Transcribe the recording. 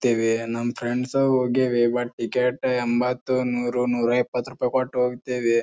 ತೆವೆ ನಮ್ ಫ್ರೆಂಡ್ಸು ಹೋಗ್ಯವೇ but ticket ಎಂಬತ್ತು ನೂರು ನೂರಾ ಇಪ್ಪತ್ತು ರೂಪಾಯಿ ಕೊಟ್ಟು ಹೋಗತ್ತೆವೆ.